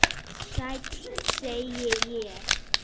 Sæll, segi ég.